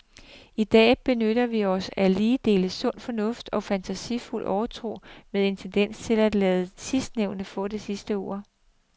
I dag benytter vi os af lige dele sund fornuft og fantasifuld overtro med en tendens til at lade sidstnævnte få det sidste ord.